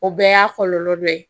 O bɛɛ y'a kɔlɔlɔ dɔ ye